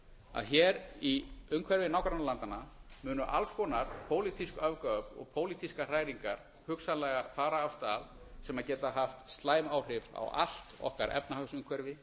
að hér í umhverfi nágrannalandanna munu alls konar pólitísk öfgaöfl og pólitískar hræringar hugsanlega fara af stað sem geta haft slæm áhrif á allt okkar efnahagsumhverfi